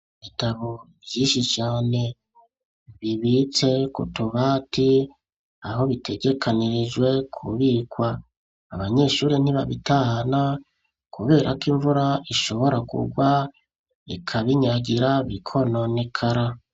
Ibitabo vynsiki cyane bibitse kutubati aho bitegekanirijwe kubikwa abanyeshuri ntibabitana kubera ko imvura ishobora kugwa ikabinyagira bikono nekara.